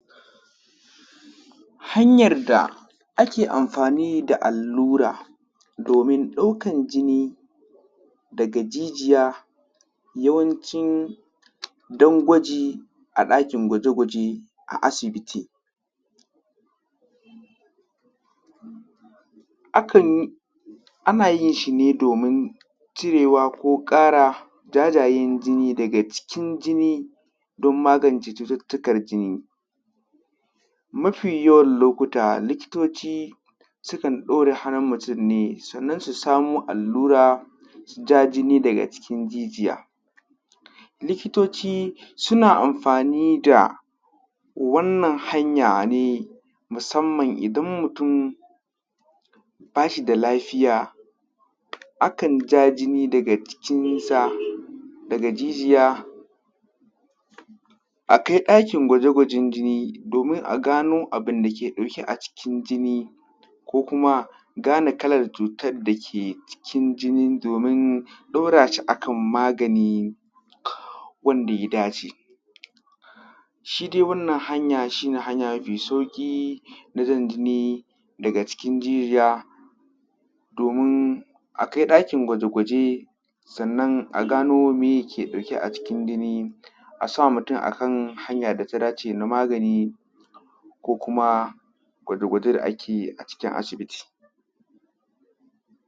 hanyan da ake amfani da allura domin ɗaukan jini daga jijiya yawanci don gwaji a ɗakin gwaje gwaje a asibiti ana yin shi ne domin cirewa ko ƙarawa jajayen jini daga cikin jini don magance cututtukar jini mafi yawan lokuta likitoci sukan ɗaure hannun mutum ne sannan su samo allura su ja jini daga cikin jijiya likitoci suna amfani da wannan hanya ne musamman idan mutum ba shi da lafiya akan ja jini daga jikinsa daga jijiya a kai ɗakin gwaje gwajen jini domin a gano abunda ke ɗauke a cikin jini ko kuma gane kalan cutar dake a cikin jini domin ɗaura shi a kan magani wanda ya dace shi dai wannan hanya shi ne hanya mafi sauƙi na jan jini daga cikin jijiya domin a kai ɗakin gwaje gwaje sannan a gano me yake dauke a cikin jini a sa mutum a hanya da ta dace na magani ko kuma gwaje gwaje da ake yi a cikin asibiti